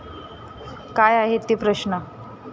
काय आहेत ते प्रश्न?